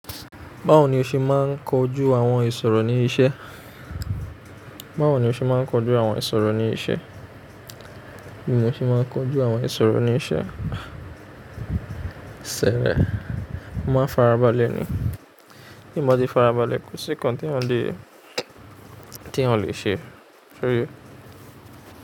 Báwo ni o ṣe máa ń kojú àwọn ìṣòro ní ibi iṣẹ́? Báwo ni o ṣe máa ń kojú àwọn ìṣòro ní iṣẹ́? Bí mo ṣe máa ń kojú àwọn ìṣòro ní iṣẹ́, ṣẹrẹ, má n farabalẹ̀ ni. Ti mo bati farabalẹ̀ kò sí kan tí eyan ò le, tí eyan ò le ṣe. Soye?